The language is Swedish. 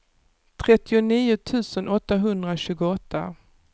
trettionio tusen åttahundratjugoåtta